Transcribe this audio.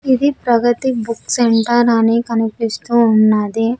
ఇది Pragati book centre అని కనిపిస్తూ ఉన్నది.